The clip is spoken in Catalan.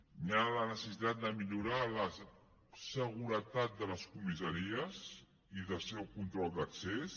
hi ha la necessitat de millorar la seguretat de les comissaries i el seu control d’accés